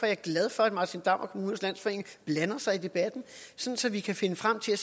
jeg glad for at martin damm og kommunernes landsforening blander sig i debatten så så vi kan finde frem til